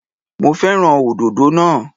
Mo fẹ́ràn òdòdó naa